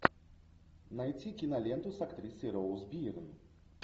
найти киноленту с актрисой роуз бирн